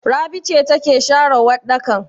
Rabi ce take share waɗɗakan?